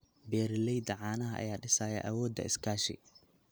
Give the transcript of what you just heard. Beeralayda caanaha ayaa dhisaya awoodda iskaashi.